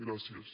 gràcies